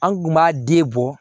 An kun b'a den bɔ